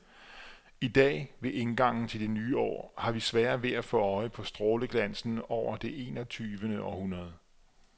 I dag, ved indgangen til det nye år, har vi sværere ved at få øje på stråleglansen over det enogtyvende århundrede.